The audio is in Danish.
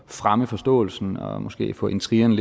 fremme forståelsen og måske få intrigerne